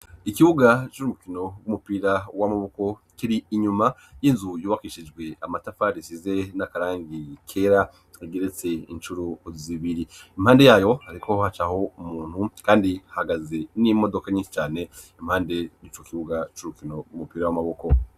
Ikibuga c'urukino rw'umupira w'amaboko kiri inyuma y'inzu yubakishijwe amatafari isize n'akarangi kera igeretse incuro uzibiri impande yayo ariko hacaho umuntu kandi hahagaze n'imodoka nyinshi cane impande n'ico kibuga c'urukino rw'umupira w'amaboko.